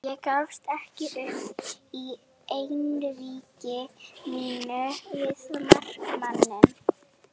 Ég gafst ekki upp í einvígi mínu við markmanninn.